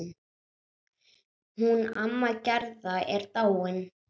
Hún amma Gerða er dáin.